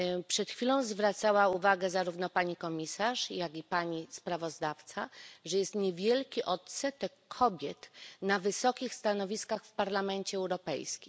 Przed chwilą zwracała uwagę zarówno pani komisarz, jak i pani sprawozdawczyni, że jest niewielki odsetek kobiet na wysokich stanowiskach w Parlamencie Europejskim.